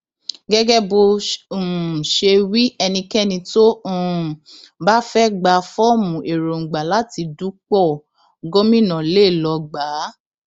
gẹgẹ bó um ṣe wí ẹnikẹni tó um bá fẹẹ gba fọọmù èròǹgbà láti dúpọ gómìnà lé lọọ gbà á